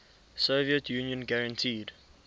soviet union guaranteed